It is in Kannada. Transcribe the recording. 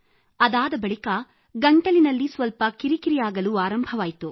ಅದಾದ ಬಳಿಕ ಗಂಟಲಿನಲ್ಲಿ ಸ್ವಲ್ಪ ಕಿರಿಕಿರಿ ಆಗಲು ಆರಂಭವಾಯಿತು